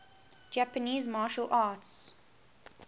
japanese martial arts